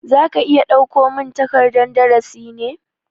Za ka iya dauko min takardan darasi ne?